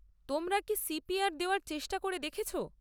তোমরা কি সি.পি.আর দেওয়ার চেষ্টা করে দেখেছ?